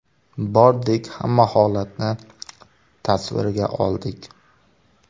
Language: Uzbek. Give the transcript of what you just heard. Bordik, hamma holatni tasvirga oldik.